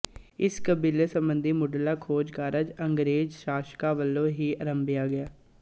ਇਸ ਕਬੀਲੇ ਸਬੰਧੀ ਮੁਢਲਾ ਖੋਜ ਕਾਰਜ ਅੰਗਰੇਜ਼ ਸ਼ਾਸਕਾਂ ਵੱਲੋਂ ਹੀ ਅਰੰਭਿਆ ਗਿਆ